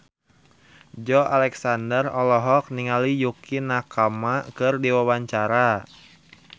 Joey Alexander olohok ningali Yukie Nakama keur diwawancara